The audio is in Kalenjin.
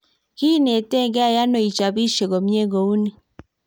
kiinetitegei ano ichopisie komye kou ni?